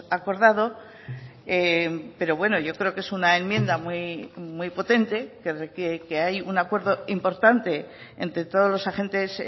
acordado pero bueno yo creo que es una enmienda muy potente que hay un acuerdo importante entre todos los agentes